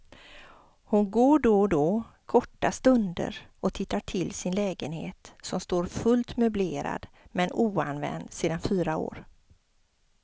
Hon går då och då, korta stunder och tittar till sin lägenhet, som står fullt möblerad men oanvänd sedan fyra år.